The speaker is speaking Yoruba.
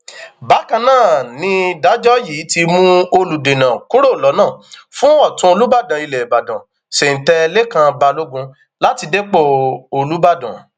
bákan náà nìdájọ yìí ti mú olùdènà kúrò lọnà fún ọtún olùbàdàn ilẹ ìbàdàn sèǹtẹ lèkàn balógun láti dépò olùbàdàn